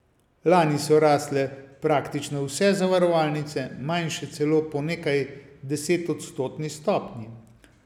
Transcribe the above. Lani so rasle praktično vse zavarovalnice, manjše celo po nekajdesetodstotni stopnji.